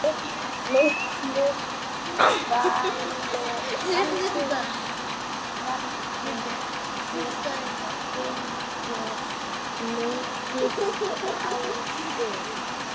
Miklu valdi fylgir mikil ábyrgð.